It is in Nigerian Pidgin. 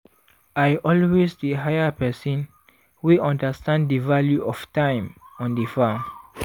i always dey hire person wey understand di value of time on di farm.